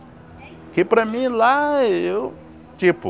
Porque para mim lá eu, tipo,